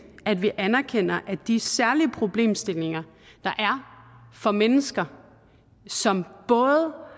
at vi anerkender at de særlige problemstillinger der for mennesker som både